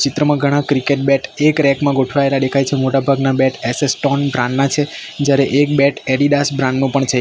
ચિત્રમાં ઘણા cricket bat એક રેક માં ગોઠવાયેલા દેખાય છે મોટાભાગના બેટ એસ_એસ ટોન બ્રાન્ડ ના છે જ્યારે એક બેટ એડિડાસ બ્રાન્ડ નું પણ છે.